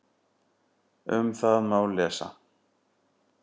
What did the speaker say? Um það má lesa